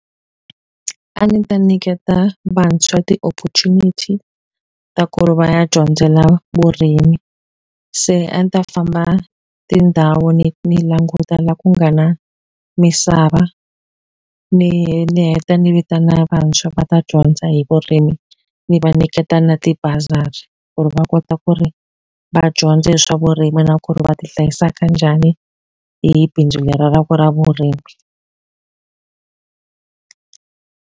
A ndzi ta nyiketa vantshwa ti-opportunity ta ku ri va ya dyondzela vurimi. Se a ni ta famba tindhawu ni ni languta laha ku nga na misava, ni ni heta ni vitana vantshwa va ta dyondza hi vurimi. Ni va nyiketa na tibazari ku ri va kota ku ri va dyondza hi swa vurimi na ku ri va ti hlayisa ka njhani hi bindzu leri ra ra ku ra vurimi.